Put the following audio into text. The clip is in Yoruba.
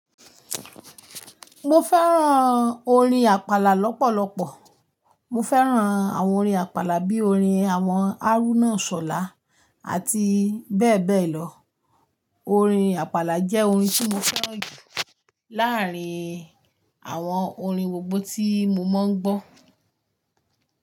Mo fẹ́ràn orin àpàlà lọ́pọ̀lọpọ̀. Mo fẹ́ràn àwọn orin àpàlà bíi orin àwọn Haruna Isola àti bẹ́ẹ̀ bẹ́ẹ̀ lọ. Orin àpàlà jẹ́ orin tí mo fẹ́ràn jù láárín àwọn orin gbogbo tí mo máa ń gbọ́.